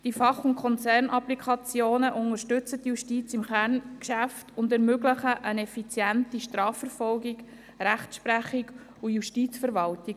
Die Fach- und Konzernapplikationen unterstützen die Justiz im Kerngeschäft und ermöglichen eine effiziente Strafverfolgung, Rechtsprechung und Justizverwaltung.